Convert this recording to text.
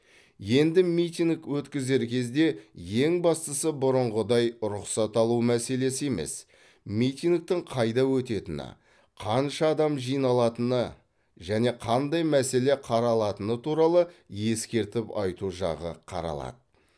енді митинг өткізер кезде ең бастысы бұрынғыдай рұқсат алу мәселесі емес митингтің қайда өтетіні қанша адам жиналатыны және қандай мәселе қаралатыны туралы ескертіп айту жағы қаралады